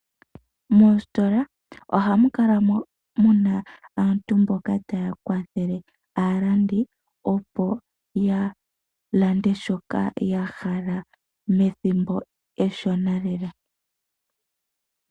Moositola ohamu kala muna aantu mboka taya kwathele aalandi, opo ya lande shoka yahala methimbo eshona lela.